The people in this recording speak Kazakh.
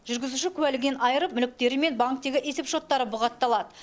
жүргізуші куәлігінен айырып мүліктері мен банктегі есеп счеттары бұғатталады